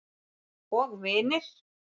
Og vinir.